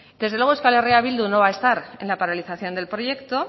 desde luego euskal herria bildu no va a estar en la paralización del proyecto